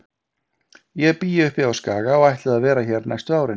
Ég bý uppi á Skaga og ætlaði að vera hér næstu árin.